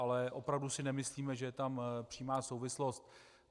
Ale opravdu si nemyslíme, že je tam přímá souvislost.